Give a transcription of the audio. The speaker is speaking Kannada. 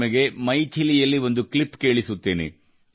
ಅಂಗ್ರೇಜೋ ಕೇ ನ್ಯಾಯ ರಹಿತ ನಿರಂಕುಶ ದಮನ ಕಾಂಡ್ ಕೋ ದೇಖ್